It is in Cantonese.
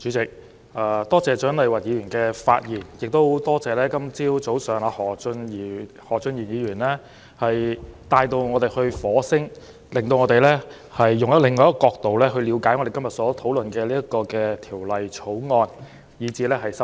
主席，多謝蔣麗芸議員的發言，亦多謝今天早上何俊賢議員把我們帶到火星，令我們從另一角度了解到今天討論的《2019年稅務條例草案》和修正案。